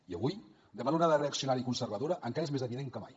i avui davant l’onada reaccionària i conservadora encara és més evident que mai